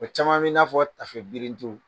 caman min'a fɔ tafe birintiw